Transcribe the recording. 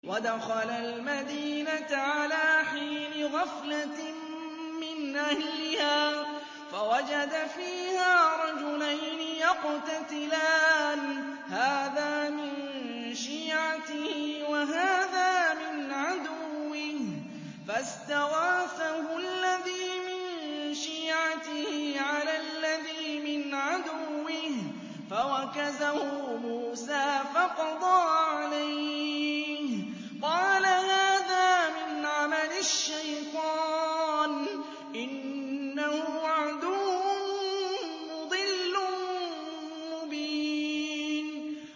وَدَخَلَ الْمَدِينَةَ عَلَىٰ حِينِ غَفْلَةٍ مِّنْ أَهْلِهَا فَوَجَدَ فِيهَا رَجُلَيْنِ يَقْتَتِلَانِ هَٰذَا مِن شِيعَتِهِ وَهَٰذَا مِنْ عَدُوِّهِ ۖ فَاسْتَغَاثَهُ الَّذِي مِن شِيعَتِهِ عَلَى الَّذِي مِنْ عَدُوِّهِ فَوَكَزَهُ مُوسَىٰ فَقَضَىٰ عَلَيْهِ ۖ قَالَ هَٰذَا مِنْ عَمَلِ الشَّيْطَانِ ۖ إِنَّهُ عَدُوٌّ مُّضِلٌّ مُّبِينٌ